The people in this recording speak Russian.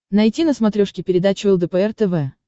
найти на смотрешке передачу лдпр тв